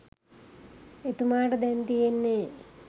එතුමාට දැන් තියෙන්නේ